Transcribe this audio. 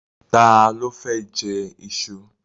Ta ló fẹ́ jẹ iṣu?